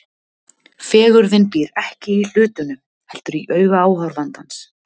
Fegurðin býr ekki í hlutunum, heldur í auga áhorfandans.